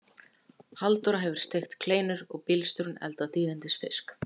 Halldóra hefur steikt kleinur og bílstjórinn eldað dýrindis fisk.